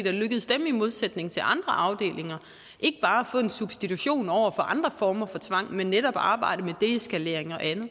er lykkedes dem i modsætning til andre afdelinger ikke bare at få en substitution over for andre former for tvang men netop at arbejde med deeskalering og andet